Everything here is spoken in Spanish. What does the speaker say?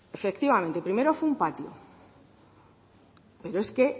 efectivamente primero fue un patio pero es que